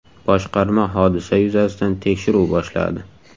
Boshqarma hodisa yuzasidan tekshiruv boshladi.